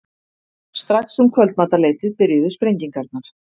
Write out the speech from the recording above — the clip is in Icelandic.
Strax um kvöldmatarleytið byrjuðu sprengingarnar.